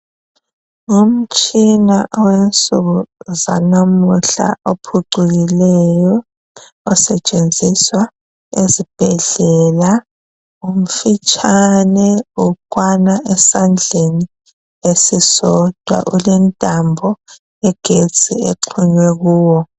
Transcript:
Umtshina owensuku zanamhla ophucukileyo osetshenziswa ezibhedlela. Umfitshane ukwana esandleni esisodwa. Ulentambo yegetsi exhunywe kuwo.